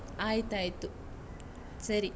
ಆಯ್ತಾಯ್ತು ಸರಿ.